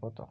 portal.